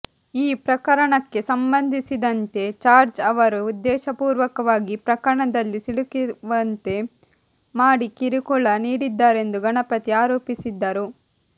ಈ ಪ್ರಕರಣಕ್ಕೆ ಸಂಬಂಧಿಸಿದಂತೆ ಜಾರ್ಜ್ ಅವರು ಉದ್ದೇಶಪೂರ್ವಕವಾಗಿ ಪ್ರಕರಣದಲ್ಲಿ ಸಿಲುಕಿಸುವಂತೆ ಮಾಡಿ ಕಿರುಕುಳ ನೀಡಿದ್ದಾರೆಂದು ಗಣಪತಿ ಆರೋಪಿಸಿದ್ದರು